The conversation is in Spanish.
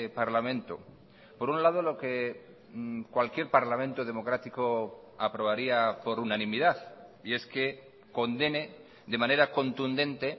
parlamento por un lado lo que cualquier parlamento democrático aprobaría por unanimidad y es que condene de manera contundente